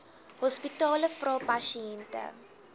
hospitale vra pasiënte